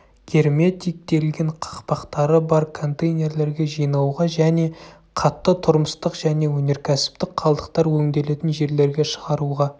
герметиктелген қақпақтары бар контейнерлерге жинауға және қатты тұрмыстық және өнеркәсіптік қалдықтар өңделетін жерлерге шығаруға